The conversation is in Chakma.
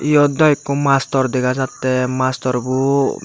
eyot do eko master degajatey mastorbo.